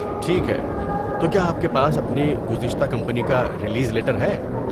ٹھیک ہے، تو کیا آپ کے پاس اپنی گزشتہ کمپنی کا ریلیز لیٹر ہے؟